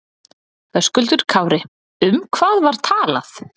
Höskuldur Kári: Um hvað var talað?